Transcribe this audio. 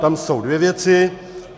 Tam jsou dvě věci.